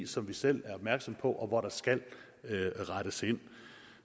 som vi selv er opmærksomme på og hvor der skal rettes ind